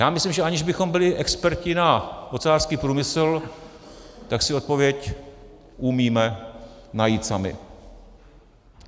Já myslím, že aniž bychom byli experti na ocelářský průmysl, tak si odpověď umíme najít sami.